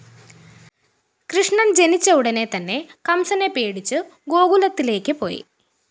കൃഷ്ണൻ ജനിച്ച ഉടനെ തന്നെ കംസനെ പേടിച്ചു ഗോകുലത്തിലേയ്ക്ക് പോയി